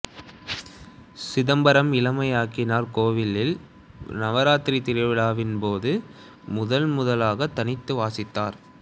சிதம்பரம் இளமையாக்கினார் கோவிலில் நவராத்திரி திருவிழாவின்போது முதன்முதலாக தனித்து வாசித்தார்